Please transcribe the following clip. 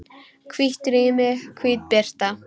Hvítt rými, hvít birta.